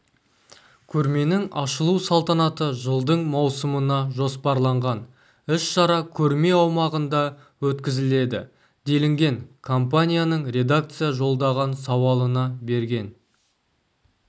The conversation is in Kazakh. көрменің ашылу салтанаты жылдың маусымына жоспарланған іс-шара көрме аумағында өткізіледі делінген компанияның редакция жолдаған сауалына берген